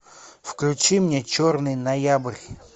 включи мне черный ноябрь